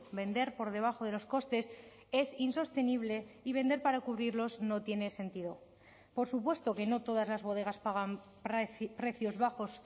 vender por debajo de los costes es insostenible y vender para cubrirlos no tiene sentido por supuesto que no todas las bodegas pagan precios bajos